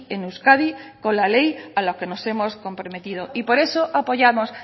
en euskadi con la ley a la que nos hemos comprometido y por eso apoyamos